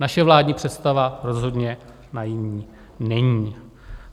Naše vládní představa rozhodně naivní není.